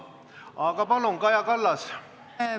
Aga palun, Kaja Kallas!